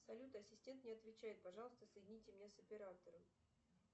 салют ассистент не отвечает пожалуйста соедините меня с оператором